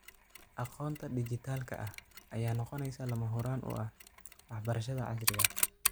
Aqoonta dhijitaalka ah ayaa noqonaysa lama huraan u ah waxbarashada casriga ah.